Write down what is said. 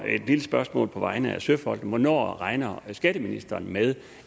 spørgsmål på vegne af søfolkene hvornår regner skatteministeren med